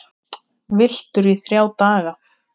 Villtur í þrjá daga